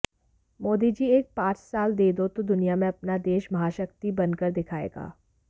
मोदी जी एक पांच साल दे दो तो दुनिया में अपना देश महाशक्ति बनकर दिखायेगा